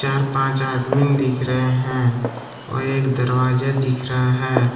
चार पांच आदमी दिख रहे हैं और एक दरवाजा दिख रहा है।